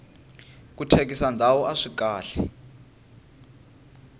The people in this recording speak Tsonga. ku thyakisa ndhawu aswi kahle